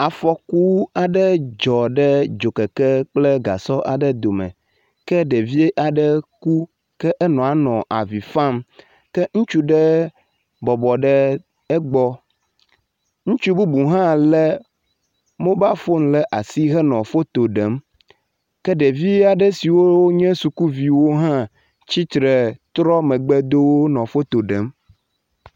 afɔku aɖe dzɔ ɖe dzokeke kple gasɔ aɖe dome ke ɖevi aɖe ku ke enɔa nɔ avifam ke ŋutsu ɖe bɔbɔ ɖe egbɔ ŋutsu bubu hã le mobal fun ɖasi nɔ foto ɖem ke ɖevi aɖe siwo wónye sukuviwo ha tsitre henɔ fotoɖem